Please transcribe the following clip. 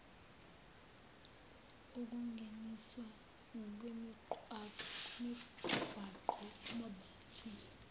ukungeniswa kwemigwaqo mobility